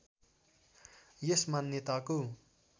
यस मान्यताको